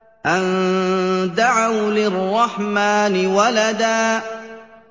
أَن دَعَوْا لِلرَّحْمَٰنِ وَلَدًا